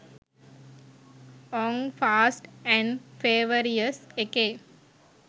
ඕංෆාස්ට් and furious එකේ